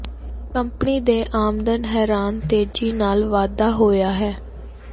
company ਦੇ ਆਮਦਨ ਹੈਰਾਨ ਤੇਜ਼ੀ ਨਾਲ ਵਾਧਾ ਹੋਇਆ ਹੈ